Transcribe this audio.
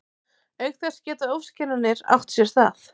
Auk þess geta ofskynjanir átt sér stað.